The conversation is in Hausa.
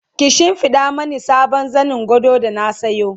ki shimfiɗa Mani sabon zanin gado da na sayo